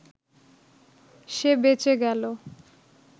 সে বেঁচে গেল